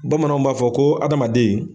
Bamananw b'a fɔ ko adamaden